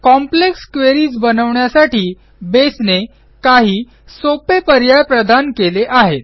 complex queries बनवण्यासाठी बेसने काही सोपे पर्याय प्रदान केले आहेत